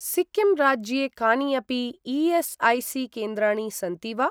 सिक्किम् राज्ये कानि अपि ई.एस्.ऐ.सी.केन्द्राणि सन्ति वा?